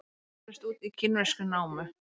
Eldur braust út í kínverskri námu